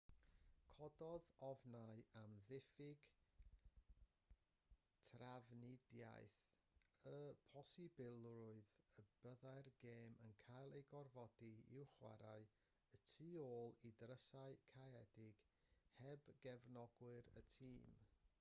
cododd ofnau am ddiffyg trafnidiaeth y posibilrwydd y byddai'r gêm yn cael ei gorfodi i'w chwarae y tu ôl i ddrysau caeëdig heb gefnogwyr y tîm